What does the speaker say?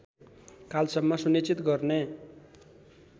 कालसम्म सुनिश्चित गर्ने